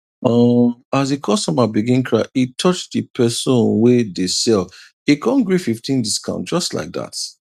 um as the customer begin cry e touch the pesin wey dey sell e con gree fifteen discount just like that